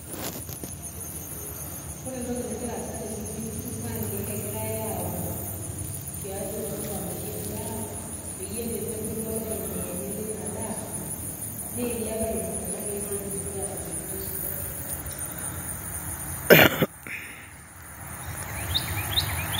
Ore entoki nagira aasa tenewueji, naa nkeek egirai aun tiatua olchamba lotii endaa, peyie tenebulu oloeniyeni linadaa, niilep aibung kuna keek petumoki atoishoto esidai.